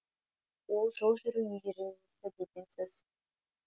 ол жол жүру ережесі деген сөз